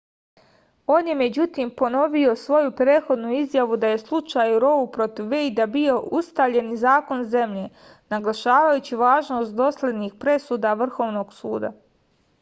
on je međutim ponovio svoju prethodnu izjavu da je slučaj rou protiv vejda bio ustaljeni zakon zemlje naglašavajući važnost doslednih presuda vrhovnog suda